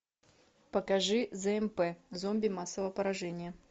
покажи змп зомби массового поражения